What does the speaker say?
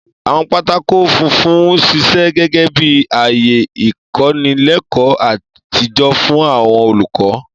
Àwọn pátákó funfun ń ṣiṣẹ́ gẹ́gẹ́ bí ààyè ìkọ́nilẹ́kọ̀ọ́ àtijọ́ fún àwọn olùkọ́.